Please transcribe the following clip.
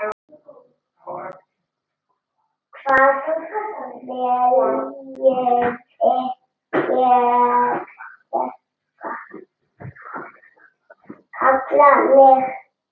Hvað viljiði kalla mig?